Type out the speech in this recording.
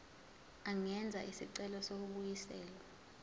angenza isicelo sokubuyiselwa